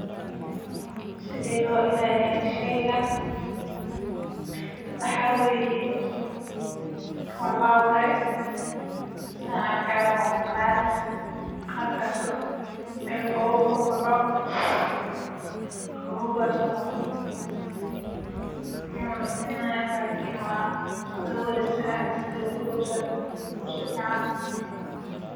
Sidee howshan isku badashe muda kadib waxaan ukunta si tartiib tartiib ugu danbeyn waxaan.